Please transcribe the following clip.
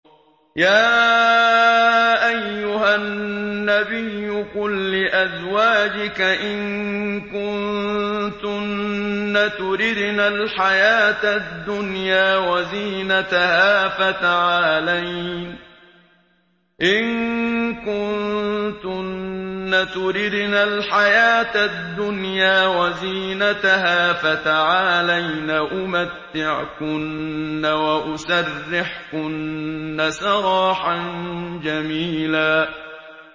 يَا أَيُّهَا النَّبِيُّ قُل لِّأَزْوَاجِكَ إِن كُنتُنَّ تُرِدْنَ الْحَيَاةَ الدُّنْيَا وَزِينَتَهَا فَتَعَالَيْنَ أُمَتِّعْكُنَّ وَأُسَرِّحْكُنَّ سَرَاحًا جَمِيلًا